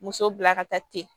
Muso bila ka taa ten